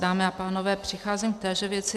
Dámy a pánové, přicházím v téže věci.